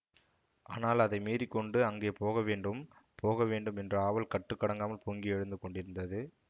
ஆனால் அதை மீறிக்கொண்டு அங்கே போகவேண்டும் போக வேண்டும் என்ற ஆவல் கட்டுக்கடங்காமல் பொங்கி எழுந்து கொண்டிருந்தது